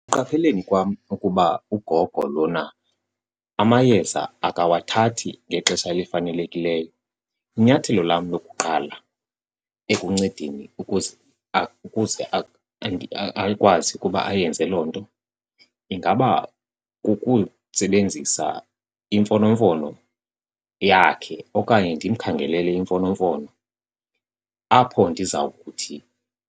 Ekuqapheleni kwam ukuba ugogo lona amayeza akawathathi ngexesha elifanelekileyo inyathelo lam lokuqala ekuncedeni ukuze akwazi ukuba ayenze loo nto, ingaba kukusebenzisa imfonomfono yakhe okanye ndimkhangelele imfonomfono apho ndiza kuthi